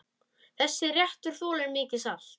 Þessi réttur þolir mikið salt.